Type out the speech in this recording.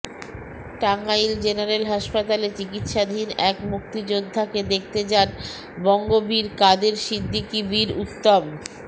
Tangail general হাসপাতালে চিকিৎসাধীন এক মুক্তিযোদ্ধাকে দেখতে যান বঙ্গবীর কাদের সিদ্দিকী বীরউত্তম